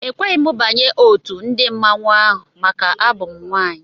Ekweghị m banye otu ndị mmanwụ ahụ maka abụ m nwaanyị.